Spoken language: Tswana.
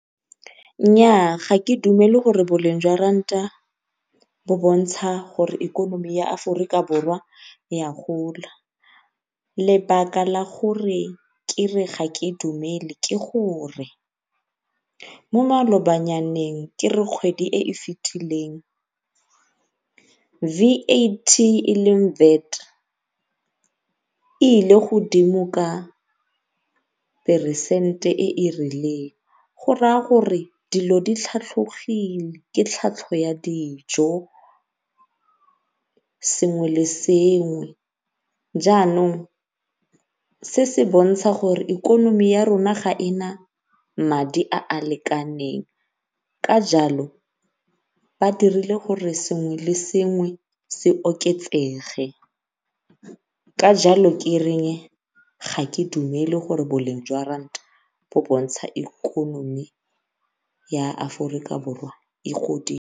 Nnyaa ga ke dumele gore boleng jwa ranta bo bontsha gore ikonomi ya Aforika Borwa e a gola, lebaka la gore kere ga ke dumele ke gore ya gola ke gore mo malobanyaneng ke re kgwedi e e fetileng V_A_T e leng VAT e ile godimo ka peresente e e rileng go raya gore dilo di tlhatlhogile. Ke ya dijo, sengwe le sengwe jaanong se se bontsha gore ikonomi ya rona ga e na madi a a lekaneng ka jalo ba dirile gore sengwe le sengwe se oketsege ka jalo ke ga ke dumele gore boleng jwa ranta bo bontsha ikonomi ya Aforika Borwa e godile.